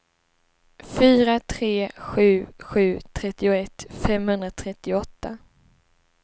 fyra tre sju sju trettioett femhundratrettioåtta